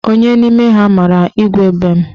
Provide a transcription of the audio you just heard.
Onye n'ime ha mara Igwe mbem?